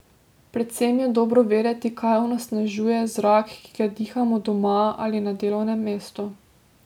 Predvsem je dobro vedeti, kaj onesnažuje zrak, ki ga dihamo doma ali na delovnem mestu.